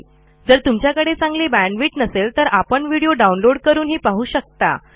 जर तुमच्याकडे चांगली बॅण्डविड्थ नसेल तर आपण व्हिडिओ डाउनलोड करूनही पाहू शकता